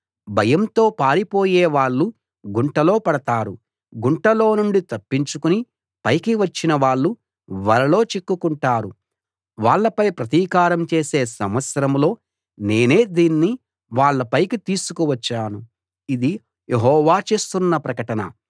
భయంతో పారిపోయే వాళ్ళు గుంటలో పడతారు గుంటలో నుండి తప్పించుకుని పైకి వచ్చిన వాళ్ళు వలలో చిక్కుకుంటారు వాళ్ళపై ప్రతీకారం చేసే సంవత్సరంలో నేనే దీన్ని వాళ్ళ పైకి తీసుకు వచ్చాను ఇది యెహోవా చేస్తున్న ప్రకటన